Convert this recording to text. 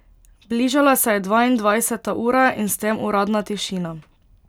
Bližala se je dvaindvajseta ura in s tem uradna tišina.